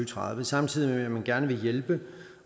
tredive samtidig med at man gerne vil hjælpe